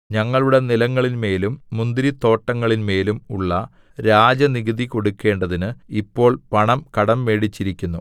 ഞങ്ങളുടെ നിലങ്ങളിന്മേലും മുന്തിരിത്തോട്ടങ്ങളിന്മേലും ഉള്ള രാജനികുതി കൊടുക്കണ്ടതിന് ഞങ്ങൾ പണം കടംമേടിച്ചിരിക്കുന്നു